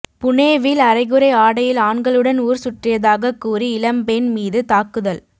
புனேவில் அரைகுறை ஆடையில் ஆண்களுடன் ஊர் சுற்றியதாகக் கூறி இளம்பெண் மீது தாக்குதல்